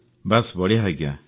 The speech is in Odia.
ବାସ୍ ବଢ଼ିଆ ଆଜ୍ଞା